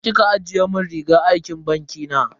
Ina kika ajiye mun rigar aikin banki na?